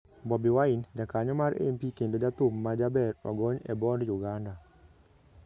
Bobi Wine: Jakanyo mar MP kendo jathum ma jaber ogony e bond Uganda